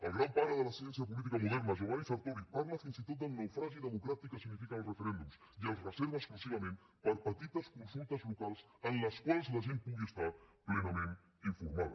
el gran pare de la ciència política moderna giovanni sartori parla fins i tot del naufragi democràtic que signifiquen els referèndums i els reserva exclusivament per a petites consultes locals en les quals la gent pugui estar plenament informada